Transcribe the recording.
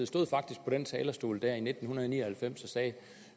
stod faktisk på den talerstol der i nitten ni og halvfems og sagde